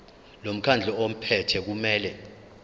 lomkhandlu ophethe kumele